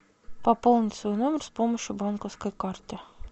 пополнить свой номер с помощью банковской карты